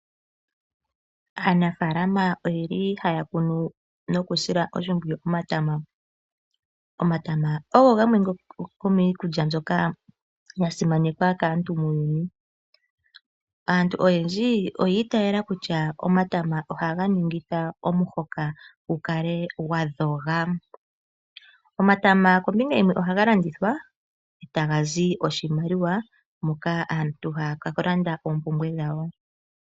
Aanafalama oyeli haya kunu noku sila oshimpwiyu omatama. Omatama ogo gamwe gomiikulya mbyoka ya simanekwa kaantu muuyuni. Aantu oya itayela kutya omatama ohaga ningitha omuhoka gu kale gwa dhoga. Omatama kombinga yimwe ohaga landithwa etaga zi oshimaliwa moka aantu haya ka landa oompumbwe dhawo.